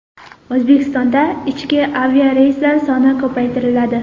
O‘zbekistonda ichki aviareyslar soni ko‘paytiriladi.